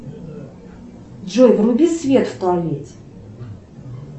джой вруби свет в туалете